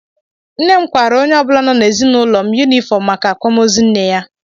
Nne m kwaara onye ọbụla nọ n'ezinụlọ m yunifọm maka akwamoozu nne ya.